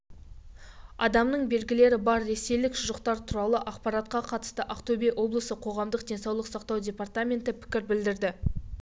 адамның белгілері бар ресейлік шұжықтар туралы ақпаратқа қатысты ақтөбе облысы қоғамдық денсаулық сақтау департаменті пікір білдірді